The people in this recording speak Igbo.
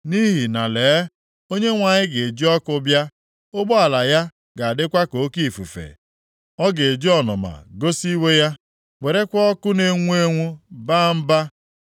Nʼihi na lee, Onyenwe anyị ga-eji ọkụ bịa. Ụgbọala ya ga-adịkwa ka oke ifufe. Ọ ga-eji ọnụma gosi iwe ya, werekwa ọkụ na-enwu enwu baa mba.